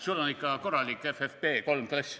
Sul on ikka korralik FFP3 klass.